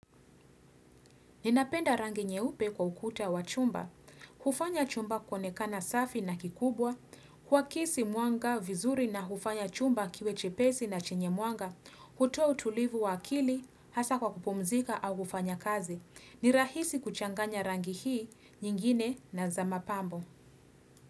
Ninapenda rangi nyeupe kwa ukuta wa chumba. Hufanya chumba kuonekana safi na kikubwa. Kuakisi mwanga, vizuri na hufanya chumba kiwe chepesi na chenye mwanga. Kutoa utulivu wa akili, hasa kwa kupumzika au kufanya kazi. Nirahisi kuchanganya rangi hii, nyingine na zama pambo.